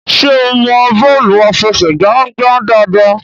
ṣe ọ mọ bọọlu afẹsẹgba ngbà dáadáa?